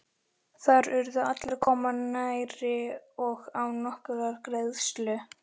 Þar urðu allir að koma nærri og án nokkurrar greiðslu.